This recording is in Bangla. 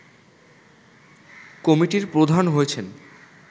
কমিটির প্রধান হয়েছেন